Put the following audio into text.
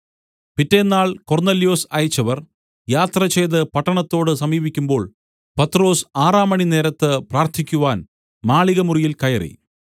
പിറ്റെന്നാൾ കൊർന്നല്യോസ് അയച്ചവർ യാത്രചെയ്തു പട്ടണത്തോട് സമീപിക്കുമ്പോൾ പത്രൊസ് ആറാം മണിനേരത്ത് പ്രാർത്ഥിക്കുവാൻ മാളികമുറിയിൽ കയറി